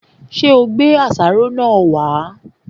Ṣé ò gbé àṣàrò wá?